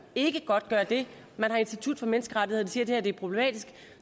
ikke godtgør det og institut for menneskerettigheder siger at det problematisk